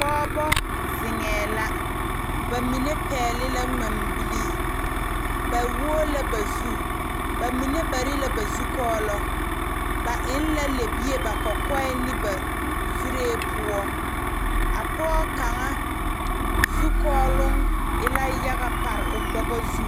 Pɔgebo zeŋee la bamine pegle la ŋmaabile ba wo la ba zu bamine bare la ba zukɔɔlo ba eŋ la lɛbie ba kɔkɔŋ ne ba zure poɔ a pɔge kaŋa zukɔɔlo e la yaga pare o bogo zu.